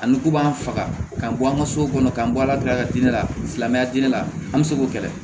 Ani k'u b'an faga k'an bɔ an ka so kɔnɔ k'an bɔ ala dala di ne lamɛnya diinɛ la an bɛ se k'o kɛlɛ